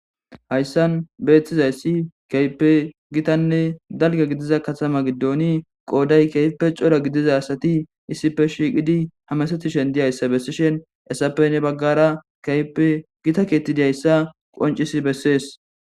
Hayssan beeththizayssi kaype gitanne dalga gidiza katama giddooni qooday keype cora gidiza asati issife shiiqidi hamasetishen diyayssa bessishen esappe ne baggara kaype gita keetti diayssa qoncis bessees